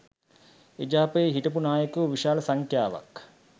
එජාපයේ හිටපු නායකයෝ විශාල සංඛ්‍යාවක්